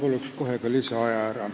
Ma palun kohe ka lisaaega.